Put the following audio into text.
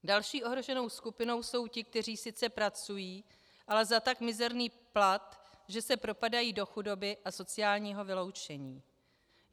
Další ohroženou skupinou jsou ti, kteří sice pracují, ale za tak mizerný plat, že se propadají do chudoby a sociálního vyloučení.